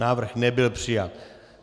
Návrh nebyl přijat.